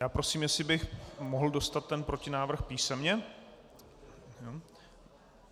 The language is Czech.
Já prosím, jestli bych mohl dostat ten protinávrh písemně.